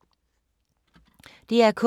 DR K